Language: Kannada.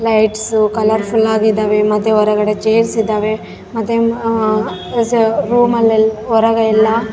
ಲೈಟ್ಸ್ ಕಲರ್ಫುಲ್ ಆಗಿದಾವೆ ಮತ್ತೆ ಹೊರಗಡೆ ಚೈರ್ಸ್ ಇದಾವೆ ಮತ್ತೆ ಆ ಸ ರೂಮ್ ಲಿ ಹೊರಗೆಲ್ಲ .